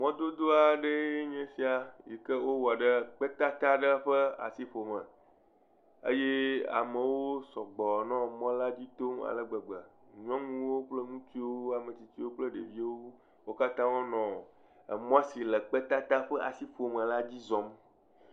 Mɔ dodo aɖe enye sia si wowɔ ɖe kpetata aɖe ƒe asiƒome eye amewo sɔgbɔ nɔ mɔ la dzi tom ale gbegbe. Nyɔnuwo kple ŋutsuwo, ame tsitsiwo kple ɖeviwo, wo katã wonɔ mɔ si le kpetata ƒe asiƒome la dzi zɔm.